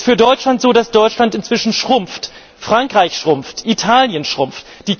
Es ist für Deutschland so, dass Deutschland inzwischen schrumpft, Frankreich schrumpft, Italien schrumpft.